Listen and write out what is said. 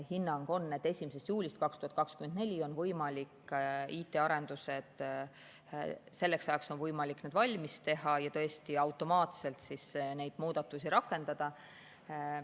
Hinnang on, et 1. juuliks 2024 on võimalik IT‑arendused valmis saada ja tõesti automaatselt neid muudatusi rakendada.